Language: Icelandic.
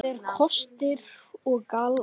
Það eru kostir og gallar.